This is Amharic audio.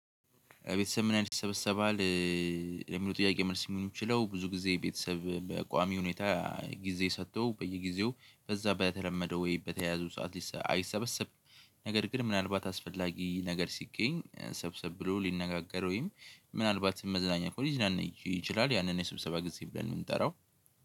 ቤተሰብ ምን ያህል ይሰበሰባል? የሚለው ጥያቄ መልስ የሚሆን የሚችለው ብዙ ጊዜ ቤተሰብ በቋሚ ሁኔታ ጊዜ ሰጥቶ በየጊዜው በዛ በተለመደው ወይ በተያያዙ ሰዓት አይሰበሰብም ነገር ግን ምናልባት አስፈላጊ ነገር ሲገኝ ሰብሰብ ብሎ ሊነጋገር ወይም ምናልባት መዝናኛ ሊያደርግ ይችላል ያንን የስብሰባ ጊዜ ብለን ነው የምንጠራው